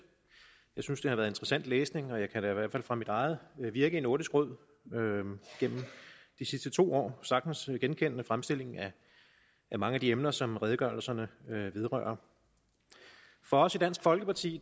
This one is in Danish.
jeg synes at det har været interessant læsning og jeg kan da i hvert fald fra mit eget virke i nordisk råd gennem de sidste to år sagtens genkende fremstillingen af mange af de emner som redegørelserne vedrører for os i dansk folkeparti